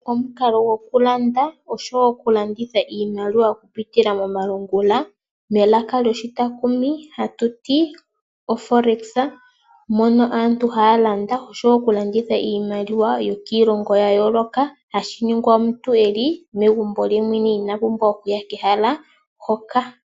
Omukalo go kulanda oshowo okulanditha iimaliwa okupitila momalungula melaka lyoshitakumi oha tutu ti Oforex mono aantu hayalanda oshowo okulanditha iimaliwa yokilongo ya yoloka hashiningwa omuntu eli megumbo lye yemwene iinapumbwa okuya kehala hoka.